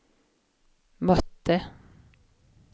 mötte